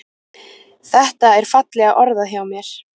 Þetta er fallega orðað hjá mér.